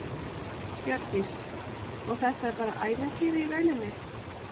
Hjördís: Og þetta er bara ævintýri í rauninni?